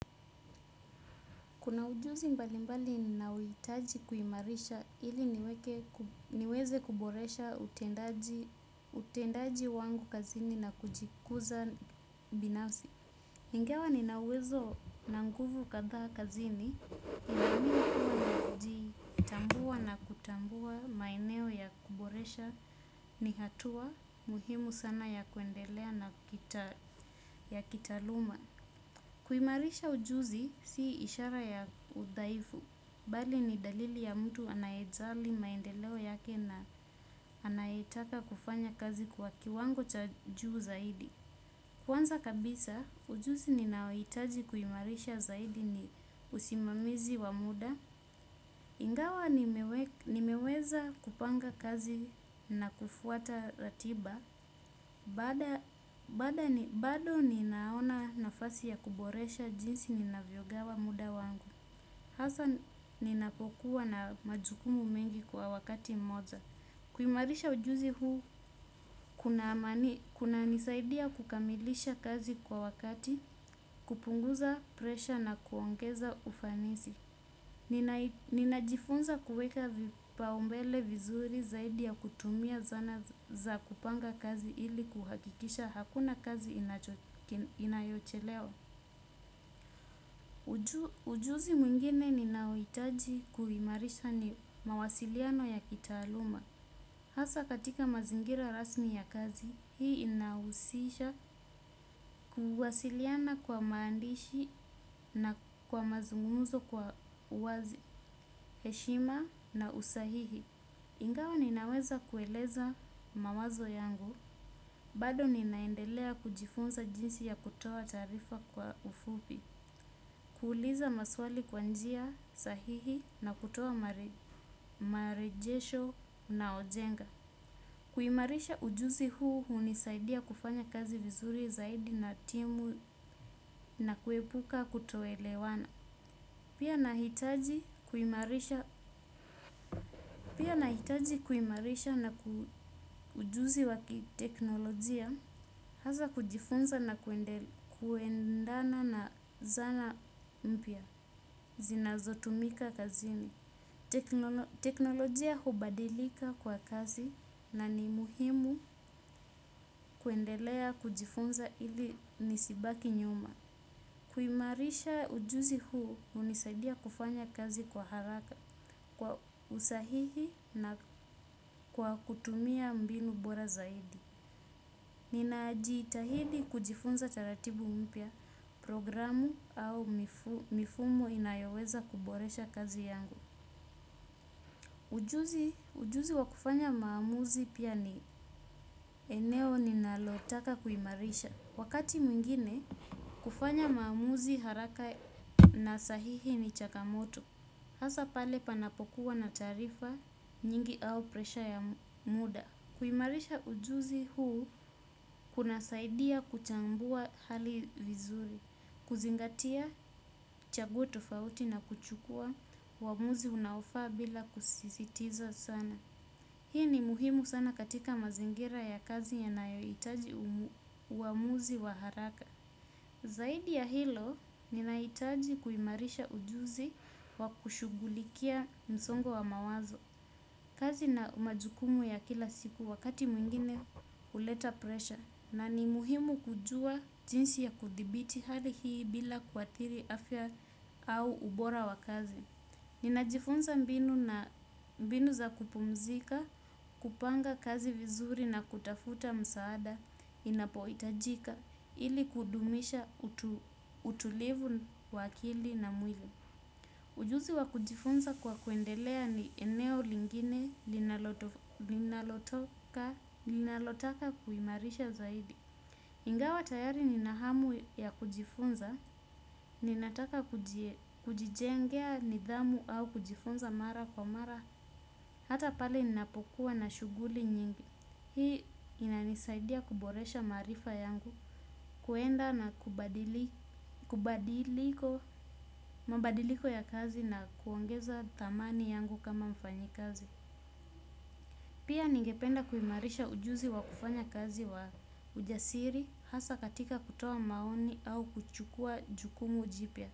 Kuna ujuzi mbali mbali ninaohitaji kuimarisha ili niweze kuboresha utendaji wangu kazini na kujikuza binasi. Ingewa ninauwezo na nguvu katha kazini, ninamini kuwa na kijitambua na kutambua maeneo ya kuboresha ni hatua muhimu sana ya kuendelea na ya kitaaluma. Kuimarisha ujuzi si ishara ya udhaifu bali ni dalili ya mtu anayejali maendeleo yake na anayetaka kufanya kazi kwa kiwango cha juu zaidi. Kwanza kabisa, ujuzi ninaohitaji kuimarisha zaidi ni usimamizi wa muda. Ingawa nimeweza kupanga kazi na kufuata ratiba, bado ninaona nafasi ya kuboresha jinsi ninavyogawa muda wangu. Hasa ninapokua na majukumu mengi kwa wakati mmoja. Kuimarisha ujuzi huu, kunanisaidia kukamilisha kazi kwa wakati, kupunguza presha na kuongeza ufanisi. Ninajifunza kuweka vipaumbele vizuri zaidi ya kutumia zana za kupanga kazi ili kuhakikisha hakuna kazi inayochelewa. Ujuzi mwingine ninaohitaji kuimarisha ni mawasiliano ya kitaaluma hasa katika mazingira rasmi ya kazi hii inahusisha kuwasiliana kwa maandishi na kwa mazungumzo kwa uwazi heshima na usahihi. Ingawa ninaweza kueleza mawazo yangu, bado ninaendelea kujifunza jinsi ya kutoa taarifa kwa ufupi, kuuliza maswali kwa njia sahihi na kutoa marejesho unaojenga. Kuimarisha ujuzi huu hunisaidia kufanya kazi vizuri zaidi na timu na kuepuka kutoelewana pia. Pia nahitaji kuimarisha ujuzi wa kiteknolojia hasa kujifunza na kuendana na zana mpya zinazotumika kazini. Teknolojia hubadilika kwa kasi na ni muhimu kuendelea kujifunza ili nisibaki nyuma. Kuimarisha ujuzi huu hunisaidia kufanya kazi kwa haraka kwa usahihi na kwa kutumia mbinu bora zaidi. Ninajitahidi kujifunza taratibu mpya programu au mifumo inayoweza kuboresha kazi yangu. Ujuzi wa kufanya maamuzi pia ni eneo ninalotaka kuimarisha. Wakati mwingine kufanya maamuzi haraka na sahihi ni changamoto. Hasa pale panapokuwa na taarifa nyingi au presha ya muda kuimarisha ujuzi huu kunasaidia kuchambua hali vizuri. Kuzingatia chaguo tofauti na kuchukua uamuzi unaofaa bila kusisitiza sana. Hii ni muhimu sana katika mazingira ya kazi yanayohitaji uamuzi wa haraka. Zaidi ya hilo, ninahitaji kuimarisha ujuzi wa kushugulikia msongo wa mawazo. Kazi na majukumu ya kila siku wakati mwingine huleta presha. Na ni muhimu kujua jinsi ya kuthibiti hali hii bila kuathiri afya au ubora wa kazi. Ninajifunza mbinu na mbinu za kupumzika, kupanga kazi vizuri na kutafuta msaada inapohitajika. Ili kudumisha utulivu wa akili na mwili. Ujuzi wa kujifunza kwa kuendelea ni eneo lingine linalotaka kuimarisha zaidi. Ingawa tayari ninahamu ya kujifunza, ninataka kujijengea nidhamu au kujifunza mara kwa mara. Hata pale ninapokuwa na shuguli nyingi. Hii inanisaidia kuboresha maarifa yangu, kwenda na mabadiliko ya kazi na kuongeza thamani yangu kama mfanyikazi. Pia ningependa kuimarisha ujuzi wa kufanya kazi wa ujasiri hasa katika kutoa maoni au kuchukuwa jukumu jipya.